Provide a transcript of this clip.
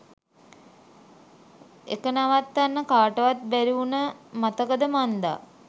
එක නවත්වන්න කටවත් බැරිඋන මතකද මන්දා